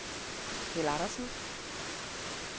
Keld Andersen